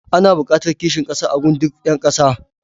Ana buƙatar kishin ƙasa a gun duk ƴa ƙasa.